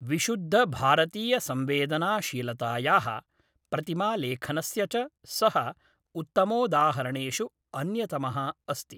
विशुद्धभारतीयसंवेदनाशीलतायाः प्रतिमालेखनस्य च सः उत्तमोदाहरणेषु अन्यतमः अस्ति